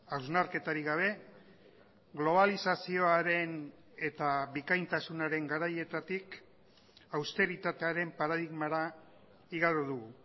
hausnarketarik gabe globalizazioaren eta bikaintasunaren garaietatik austeritatearen paradigmara igaro dugu